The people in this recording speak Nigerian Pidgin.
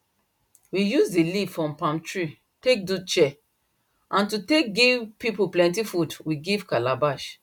we use the leaf from palm trees take do chair and to take give people plenty food we give calabash